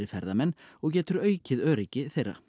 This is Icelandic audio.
ferðamönnum og getur aukið öryggi þeirra